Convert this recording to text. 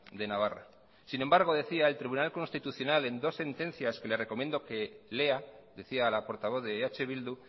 de navarra sin embargo decía el tribunal constitucional en dos sentencias que le recomiendo que lea decía la portavoz de eh bildu